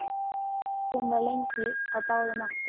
Hún var lengi á báðum áttum.